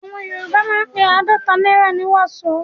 Àwọn Yorùbá máa ń pe àádọ́ta náírà ní "wàsó".